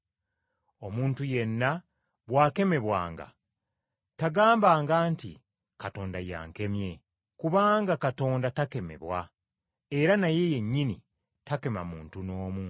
Omuntu yenna bw’akemebwanga, tagambanga nti, “Katonda ye yankemye,” kubanga Katonda takemebwa, era naye yennyini takema muntu n’omu.